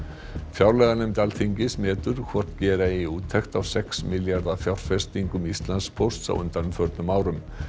fjárlaganefnd Alþingis metur hvort gera eigi úttekt á sex milljarða fjárfestingum Íslandspóst á undanförnum árum